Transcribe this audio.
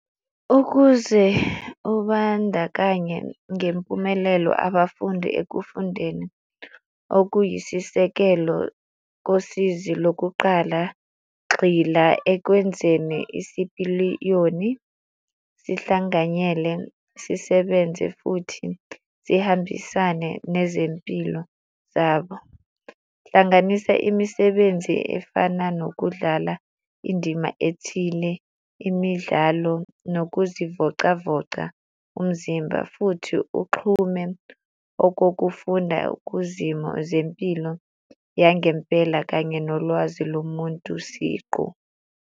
Ukuze ubandakanye ngempumelelo abafundi ekufundeni okuyisisekelo kosizi lokuqala, gxila ekwenzeni isipiliyoni sihlanganyele sisebenze futhi sihambisane nezempilo zabo. Hlanganisa imisebenzi efana nokudlala indima ethile, imidlalo nokuzivocavoca umzimba futhi uxhume okokufunda kuzimo zempilo yangempela kanye nolwazi lomuntu siqu.